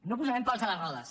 no posarem pals a les rodes